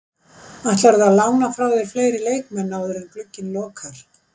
Ætlarðu að lána frá þér fleiri leikmenn áður en glugginn lokar?